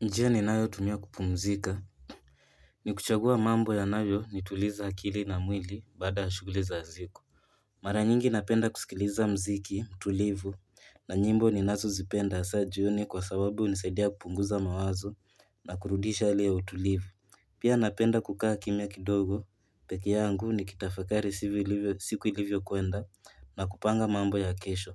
Njia ninayotumia kupumzika. Ni kuchagua mambo yanayonituliza akili na mwili baada ya shughuli za siku. Mara nyingi napenda kusikiliza muziki tulivu na nyimbo ninazozipenda hasaa jioni kwa sababu hunisaidia kupunguza mawazo na kurudisha hali ya utulivu pia napenda kukaa kimya kidogo, peke yangu nikitafakari siku ilivyokuenda na kupanga mambo ya kesho.